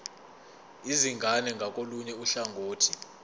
izingane ngakolunye uhlangothi